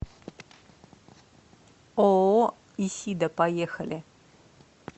ооо исида поехали